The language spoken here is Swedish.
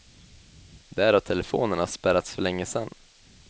Där har telefonerna spärrats för länge sedan.